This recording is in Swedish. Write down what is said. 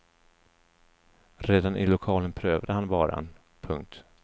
Redan i lokalen prövade han varan. punkt